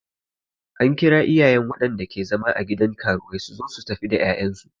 An kira iyayen waɗanda ke zama a gidan karuwai suzo su tafi da 'ya'yan su.